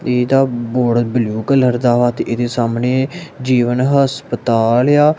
ਇਹਦਾ board blue colour ਦਾ ਵਾ ਤੇ ਇਹਦੇ ਸਾਹਮਣੇ ਜੀਵਨ ਹਸਪਤਾਲ ਏ ਆ।